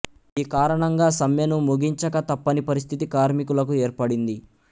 ఈ కారణంగా సమ్మెను ముగించక తప్పని పరిస్థితి కార్మికులకు ఏర్పడింది